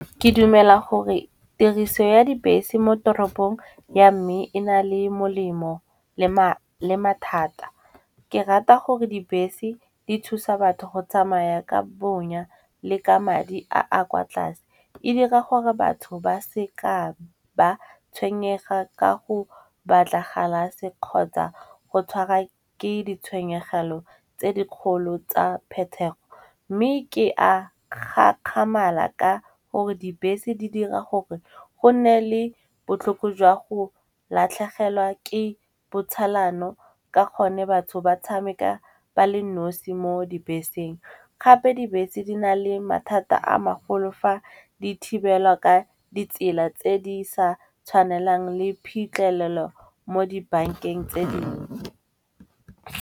Ke dumela gore tiriso ya dibese mo toropong ya mme e na le molemo le mathata. Ke rata gore dibese di thusa batho go tsamaya ka bonya le ka madi a a kwa tlase. E dira gore batho ba seka ba tshwenyega ka go batla galase kgotsa go tshwara ke ditshwenyegelo tse dikgolo tsa phetego. Mme ke a gakgamala ka gore dibese di dira gore go nne le botlhoko jwa go latlhegelwa ke botsalano ka gonne batho ba tshameka ba le nosi mo dibeseng. Gape dibese di na le mathata a magolo fa di thibelwa ka ditsela tse di sa tshwanelang le phitlhelelo mo dibankeng tse dingwe.